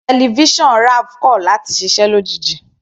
Tẹlifísàn Raph kọ̀ láti ṣiṣẹ́ lójijì.